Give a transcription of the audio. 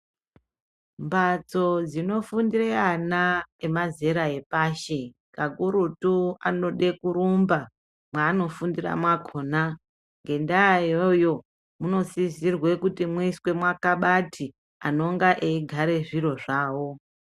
Mbatso dzinofundira ana emazera epashi kakurutu anode kurumba mwanofundira mwakona ngendaa iyoyo munosisirwa kuti muiswe makabhati anonge eigara zviro zvawo.